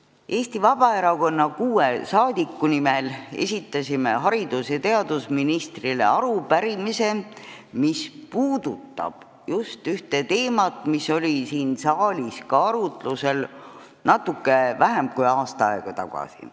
Kuus Eesti Vabaerakonna saadikut esitasid haridus- ja teadusministrile arupärimise, mis puudutab ühte teemat, mis oli siin saalis arutlusel natuke vähem kui aasta aega tagasi.